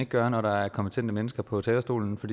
gøre når der er kompetente mennesker på talerstolen for